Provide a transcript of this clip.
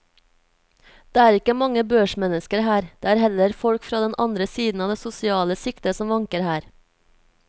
Det er ikke mange børsmennesker her, det er heller folk fra den andre siden av det sosiale skiktet som vanker her.